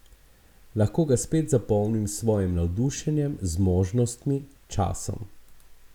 Lahko ga spet zapolnim s svojim navdušenjem, zmožnostmi, časom ...